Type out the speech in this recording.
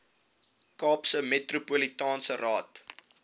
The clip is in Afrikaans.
kaapse metropolitaanse raad